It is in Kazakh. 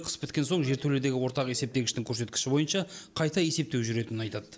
қыс біткен соң жертөледегі ортақ есептегіштің көрсеткіші бойынша қайта есептеу жүретінін айтады